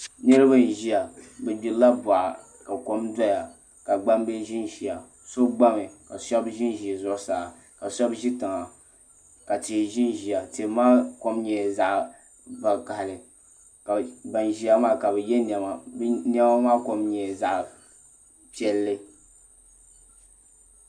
Niraba n ʒiya bi gbirila boɣa ka kom doya ka gbambihi ʒinʒiya so gbami ka shab ʒinʒi zuɣusaa ka shab ʒi tiŋa ka tihi ʒinʒiya tihi maa kom nyɛla zaɣ vakaɣali ka ban ʒiya maa ka bi yɛ niɛma bi niɛma maa kom nyɛla zaɣ piɛlli